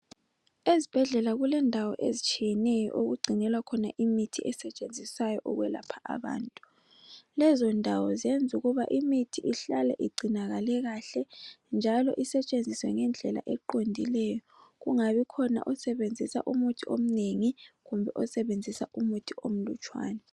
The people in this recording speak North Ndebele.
Ezibhedlela kulendawo ezitshiyeneyo okugcinelwa khona imithi esetshenziswayo ukwelapha abantu. Lezo ndawo zenza ukuba imithi ihlale igcinakale kahle, njalo isetshenziswe ngendlela eqondileyo kungabi khona osebenzisa umuthi omnengi kumbe osebenzisa umuthi omlutshwane.